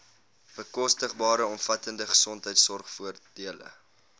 bekostigbare omvattende gesondheidsorgvoordele